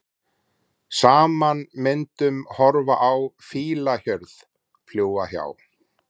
Saman myndum horfa á fílahjörð, fljúga hjá.